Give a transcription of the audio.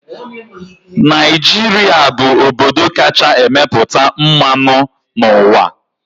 Naijiria bụ obodo kacha emepụta mmanụ n'ụwa.